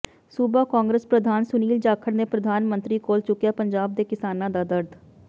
ਸੂਬਾ ਕਾਂਰਗਸ ਪ੍ਰਧਾਨ ਸੁਨੀਲ ਜਾਖੜ ਨੇ ਪ੍ਰਧਾਨ ਮੰਤਰੀ ਕੋਲ ਚੁੱਕਿਆ ਪੰਜਾਬ ਦੇ ਕਿਸਾਨਾਂ ਦਾ ਦਰਦ